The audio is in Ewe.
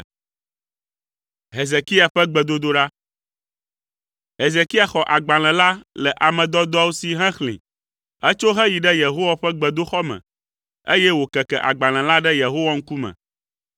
Hezekia xɔ agbalẽ la le ame dɔdɔawo si hexlẽe. Etso heyi ɖe Yehowa ƒe gbedoxɔ me, eye wòkeke agbalẽ la ɖe Yehowa ŋkume.